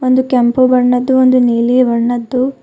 ಒಂದು ಕೆಂಪು ಬಣ್ಣದ್ದು ಒಂದು ನೀಲಿ ಬಣ್ಣದ್ದು--